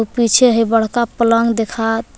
पीछे है बड़का पलंग देखात।